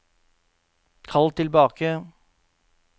kall tilbake